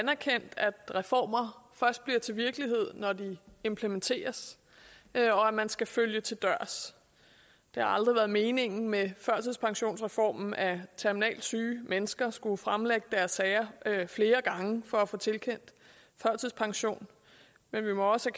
erkendt at reformer først bliver til virkelighed når de implementeres og at man skal følge dem til dørs det har aldrig været meningen med førtidspensionsreformen at terminalt syge mennesker skulle fremlægge deres sager flere gange for at få tilkendt førtidspension men vi må også